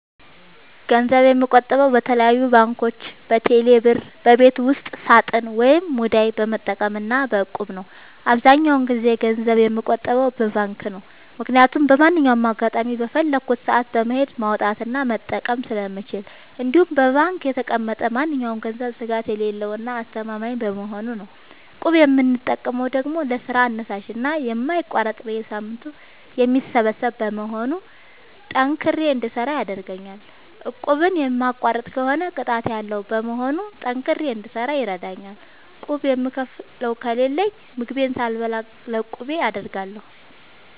ገንዘብ የምቆጥበው በተለያዩ ባንኮች÷በቴሌ ብር ÷በቤት ውስጥ ሳጥን ወይም ሙዳይ በመጠቀም እና በ እቁብ ነው። አብዛኛውን ጊዜ ገንዘብ የምቆጥበው በባንክ ነው። ምክያቱም በማንኛውም አጋጣሚ በፈለኩት ሰአት በመሄድ ማውጣት እና መጠቀም ስለምችል እንዲሁም በባንክ የተቀመጠ ማንኛውም ገንዘብ ስጋት የሌለው እና አስተማማኝ በመሆኑ ነው። እቁብ የምጠቀመው ደግሞ ለስራ አነሳሽና የማይቋረጥ በየሳምንቱ የሚሰበሰብ በመሆኑ ጠንክሬ እንድሰራ ያደርገኛል። እቁቡን የሚቋርጥ ከሆነ ቅጣት ያለዉ በመሆኑ ጠንክሬ እንድሰራ ይረደኛል። ቁብ የምከፍለው ከሌለኝ ምግቤን ሳልበላ ለቁቤ አደርጋለሁ።